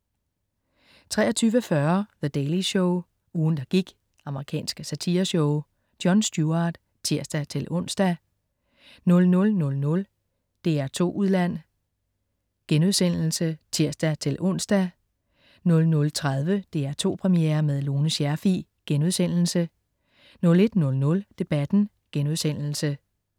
23.40 The Daily Show. Ugen, der gik. Amerikansk satireshow. Jon Stewart (tirs-ons) 00.00 DR2 Udland* (tirs-ons) 00.30 DR2 Premiere med Lone Scherfig* 01.00 Debatten*